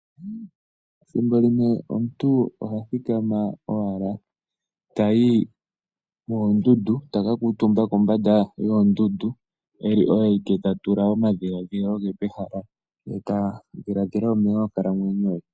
Thimbo limwe omuntu ohathika owala tayi moondundu taka kuutumba kombanda yoondundu eli oye awike tatula omadhiladhilo ge pehala ye tadhiladhila onkalamwenyo ye.